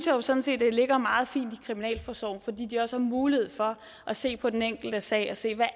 jo sådan set at det ligger meget fint i kriminalforsorgen fordi de også har mulighed for at se på den enkelte sag og se hvad